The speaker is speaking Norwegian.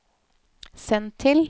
send til